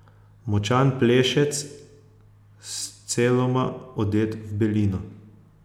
Močan plešec, sceloma odet v belino.